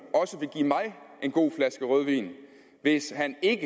en god flaske rødvin hvis han ikke